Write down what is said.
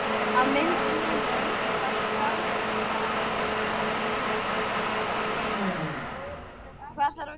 Maðurinn fór sannarlega ekki alfaraleið í fjárprettum sínum.